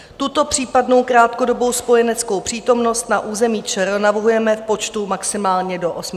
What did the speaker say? Tuto případnou krátkodobou spojeneckou přítomnost na území ČR navrhujeme v počtu maximálně do 800 osob.